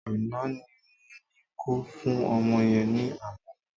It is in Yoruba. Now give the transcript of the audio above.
Àná ni mo ní ko fún ọmọ yẹn ní àmàlà